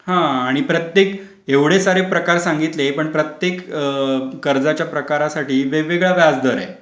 हा आणि प्रत्येक एवढे सारे प्रकार सांगितले पण प्रत्येक कर्जाचा प्रकारासाठी वेगवेगळ्या व्याजदर आहे.